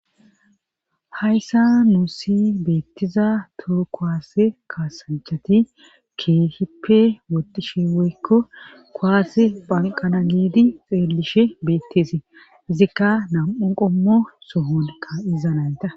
Hayssa nuu si beettiza tuu koaase kaasanchati keehippe wotishe weykko koaase phanqana giidi xeellishe beetteesee izikka nam7un qommo sohonkka iza nayta.